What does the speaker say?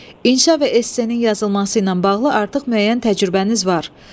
İnşa və SC-nin yazılması ilə bağlı artıq müəyyən təcrübəniz var.